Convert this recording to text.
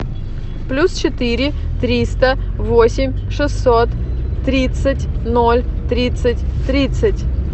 плюс четыре триста восемь шестьсот тридцать ноль тридцать тридцать